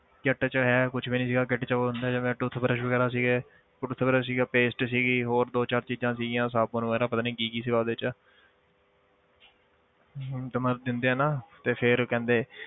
Kit 'ਚ ਹੈ ਕੁਛ ਵੀ ਨੀ ਸੀਗਾ kit 'ਚ ਉਹ ਹੁੰਦਾ ਜਿਵੇਂ toothbrush ਵਗ਼ੈਰਾ ਸੀਗੇ toothbrush ਸੀਗਾ paste ਸੀਗੀ ਹੋਰ ਦੋ ਚਾਰ ਚੀਜ਼ਾਂ ਸੀਗੀਆਂ ਸਾਬਣ ਵਗ਼ੈਰਾ ਪਤਾ ਨੀ ਕੀ ਕੀ ਸੀਗਾ ਉਹਦੇ 'ਚ ਹਮ ਤੇ ਮਤਲਬ ਦਿੰਦੇ ਆ ਨਾ ਤੇ ਫਿਰ ਕਹਿੰਦੇ